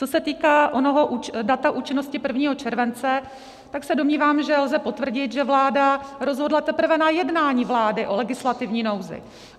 Co se týká onoho data účinnosti 1. července, tak se domnívám, že lze potvrdit, že vláda rozhodla teprve na jednání vlády o legislativní nouzi.